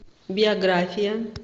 биография